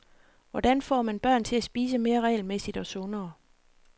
Hvordan får man børn til at spise mere regelmæssigt og sundere?